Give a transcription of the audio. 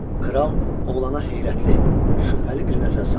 Kral oğlana heyrətli, şübhəli bir nəzər saldı.